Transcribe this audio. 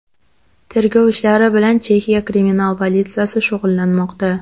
Tergov ishlari bilan Chexiya kriminal politsiyasi shug‘ullanmoqda.